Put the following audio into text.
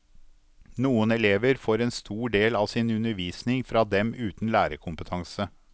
Noen elever får en stor del av sin undervisning fra dem uten lærerkompetanse.